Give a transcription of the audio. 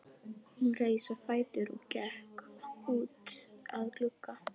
Hún reis á fætur og gekk út að glugga.